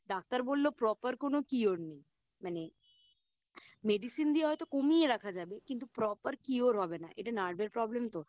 doctor বললো Proper কোনো Cure নেই মানে Medicine দিয়ে হয়তো কমিয়ে রাখা যাবে কিন্তু Proper cure হবে না এটা Nerve এর Problem তো